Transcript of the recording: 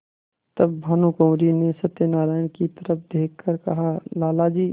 तब भानुकुँवरि ने सत्यनारायण की तरफ देख कर कहालाला जी